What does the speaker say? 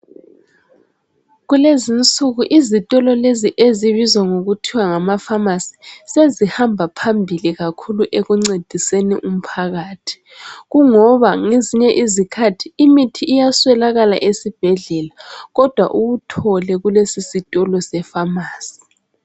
Kulez'insuku izitholo lezi ezibizwa ngokuthiwa ngamafamasi sezihamba phambili kakhuku ekucediseni umphakathi. Kungoba ngezinye izikhathi imithi iyeswelaka esibhedlela, kodwa uyuthole kwelesi sitolo sefamasi.